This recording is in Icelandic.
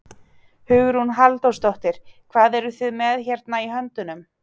Hugrún Halldórsdóttir: Hvað eruð þið með hérna í höndunum?